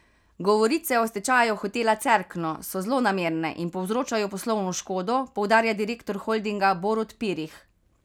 Govorice o stečaju Hotela Cerkno so zlonamerne in povzročajo poslovno škodo, poudarja direktor holdinga Borut Pirih.